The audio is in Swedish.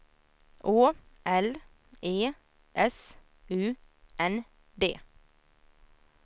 Å L E S U N D